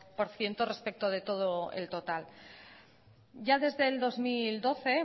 por ciento respecto de todo el total ya desde el dos mil doce